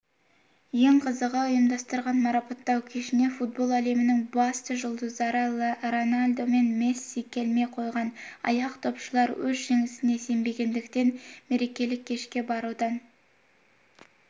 ең қызығы ұйымдастырған марапаттау кешіне футбол әлемінің басты жұлдыздары роналду мен месси келмей қойған аяқдопшылар өз жеңісіне сенбегендіктен мерекелік кешке барудан